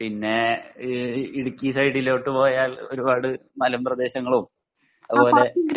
പിന്നെ ഈ ഇടുക്കി സൈഡിലോട്ട് പോയാൽ ഒരുപാട് മലമ്പ്രദേശങ്ങളും അതുപോലെ